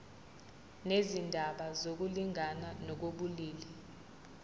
nezindaba zokulingana ngokobulili